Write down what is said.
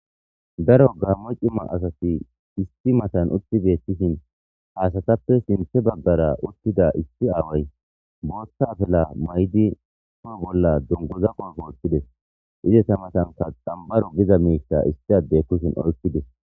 Daro gammo cima asati isti matan utti beettishin haasatappe sinthe baggara uttida issi aaway booththa afela may7di poo bolla dunguza qofoothtides izesa matanka xambaru giza miissa issi adde kushin oykides.